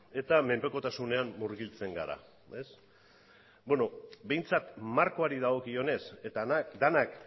eta menpekotasunean murgiltzen gara beno behintzat markoari dagokionez eta denak